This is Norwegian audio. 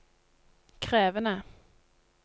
krevende